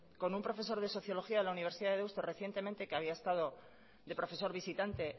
con un profesor de sociología de la universidad de deusto recientemente que había estado de profesor visitante